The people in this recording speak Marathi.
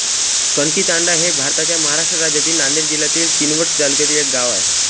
कणकीतांडा हे भारताच्या महाराष्ट्र राज्यातील नांदेड जिल्ह्यातील किनवट तालुक्यातील एक गाव आहे